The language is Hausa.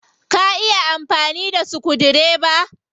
Ka iya amfani da sukudireba?